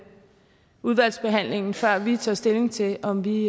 udvalgsbehandlingen før vi tager stilling til om vi